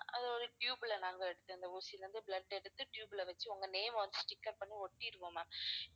அது ஒரு tube ல நாங்க எடுத்த அந்த ஊசியில இருந்து blood எடுத்து tube ல வெச்சி உங்க name அ வந்து sticker பண்ணி ஒட்டிடுவோம் ma'am